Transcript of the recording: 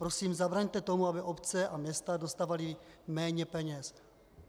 Prosím, zabraňte tomu, aby obce a města dostávaly méně peněz.